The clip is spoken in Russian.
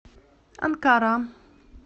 анкара